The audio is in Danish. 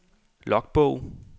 logbog